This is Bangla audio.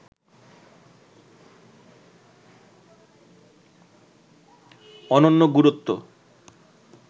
অনন্য গুরুত্ব